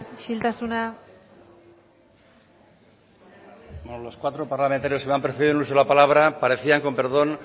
isiltasuna bueno los cuatro parlamentarios que me han precedido en el uso de la palabra parecían con perdón